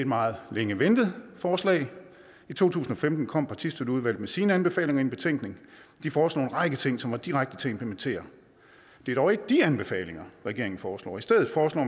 meget længe ventet forslag i to tusind og femten kom partistøtteudvalget med sine anbefalinger i en betænkning de foreslår en række ting som er direkte til at implementere det er dog ikke de anbefalinger regeringen foreslår i stedet foreslår